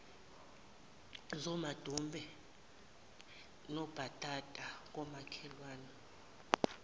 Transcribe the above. zamadumbe nobhatata komakhelwane